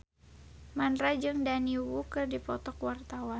Mandra jeung Daniel Wu keur dipoto ku wartawan